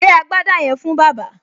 Gbé agbádá yẹn fún bàbá!